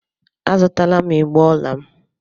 A zụtala m igbé ọla m.